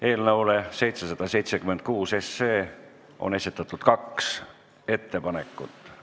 Eelnõu 776 kohta on esitatud kaks ettepanekut.